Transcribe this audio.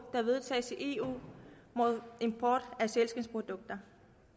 der vedtages i eu mod import af sælskindsprodukter